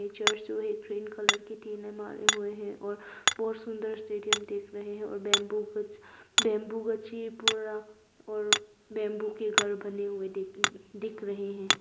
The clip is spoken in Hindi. पिक्चर जो है ग्रीन कलर की टिने मारे हुए हैं और बहुत सुंदर स्टेडियम देख रहे हैं और बंबू कुछ बंबू कच्ची पूरा और बंबू के घर बने हुए दिख दिख रहे हैं।